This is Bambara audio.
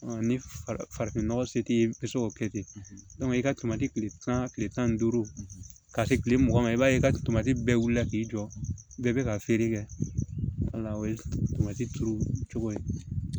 Ni farafinnɔgɔ se t'i ye i bɛ se k'o kɛ ten i ka tomati kile tan kile tan ni duuru ka se kile mugan ma i b'a ye i ka tomati bɛɛ wulila k'i jɔ bɛɛ bɛ ka feere kɛ o ye turu cogo ye